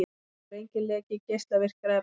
Nú er enginn leki geislavirkra efna